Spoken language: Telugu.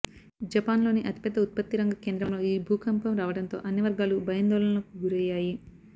జపాన్లోని అతిపెద్ద ఉత్పత్తిరంగ కేంద్రంలో ఈ భూకంపం రావడంతో అన్ని వర్గాలు భయాందోళనలకు గురయ్యాయి